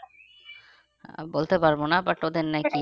আমি বলতে পারবো না but ওদের নাকি